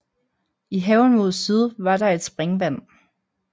I haven mod syd var der et springvand